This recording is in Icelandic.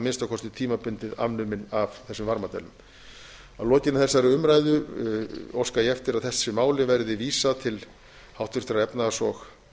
minnsta kosti tímabundið afnumin af þessum varmadælum að lokinni þessari umræðu óska ég eftir að þessu máli verði vísað til háttvirtrar efnahags og